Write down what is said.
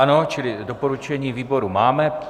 Ano, čili doporučení výboru máme.